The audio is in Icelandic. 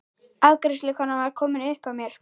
Afgreiðslukonan var komin upp að mér.